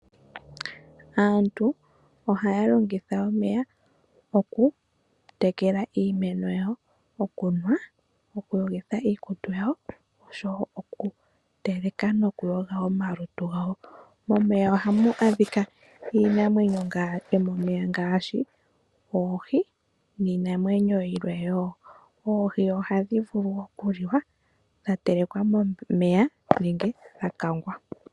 Aantu ohaya longitha omeya okutekela iimeno yawo, okunwa, okuyogitha iikutu yawo, osho wo okuteleka nokuyoga omalutu gawo. Momeya ohamu adhika iinamwenyo yomomeya ngaashi oohi niinamwenyo yilwe wo. Oohi ohadhi vulu okuliwa dha telekwa momeya nenge dha kangwa.